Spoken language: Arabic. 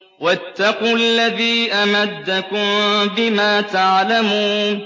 وَاتَّقُوا الَّذِي أَمَدَّكُم بِمَا تَعْلَمُونَ